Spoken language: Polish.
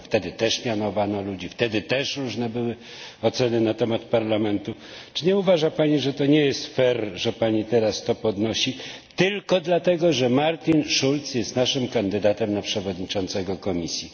Wtedy też mianowano ludzi, wtedy też różne były oceny na temat Parlamentu. Czy nie uważa Pani, że to nie jest że Pani teraz to podnosi tylko dlatego, że Martin Schulz jest naszym kandydatem na przewodniczącego Komisji?